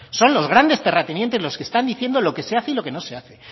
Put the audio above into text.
son los grandes terratenientes los que están diciendo lo que se hace y lo que no se hace